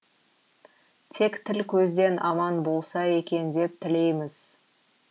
тек тіл көзден аман болса екен деп тілейміз